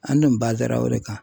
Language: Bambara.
An dun ra o de kan.